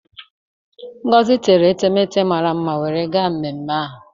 Ngozi tere etemete mara mma wee gaa mme ahụ.